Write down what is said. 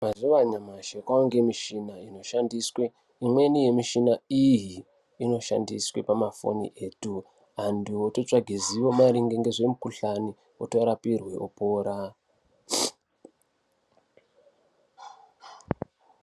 Muzuva anyashi kwave nemichina inoshandiswe imweni michina iyi inoshandiswe pamafoni etu ,antu ototsvaga ruzivo maringe nezvemukuhlani otorapirwe opora.